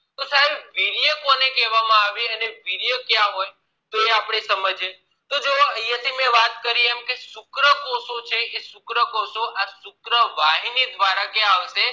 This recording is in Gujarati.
વીર્ય કોને કહેવામાં આવે અને વીર્ય ક્યાં હોય એ આપણે સમજી એ તો મેં થી જે વાત કરી કે આ શુક્રકોષો છે આ શુક્રકોષો એ શુક્રવાહિની દ્વારા કયા આવશે